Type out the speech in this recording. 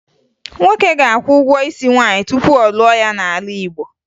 Nwoke ga-akwụ ụgwọ isi nwaanyị tupu ọ lụọ ya n'ala Igbo